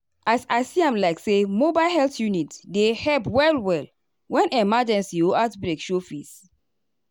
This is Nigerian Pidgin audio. as i see am like say mobile health unit dey help well-well when emergency or outbreak show face.